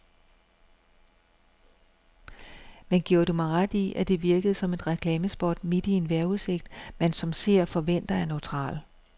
Men giver du mig ret i, at det virkede som et reklamespot midt i en vejrudsigt, man som seer forventer er neutral.